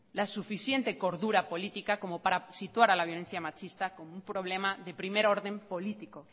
la suficiente cordura política como para situar a la violencia machista como un problema de primer orden político